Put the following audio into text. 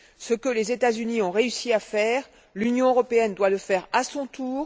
Ce que les États Unis ont réussi à faire, l'Union européenne doit le faire à son tour.